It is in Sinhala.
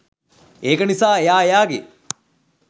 ඒක නිසා එයා එයාගේ